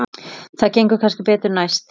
Það gengur kannski betur næst.